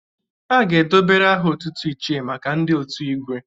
A ga-edobere aha otutu 'Ichie' maka ndị otu Igwe.